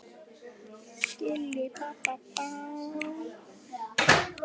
Svona var þetta bara.